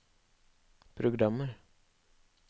programmer